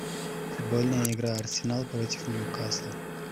футбольная игра арсенал против ньюкасла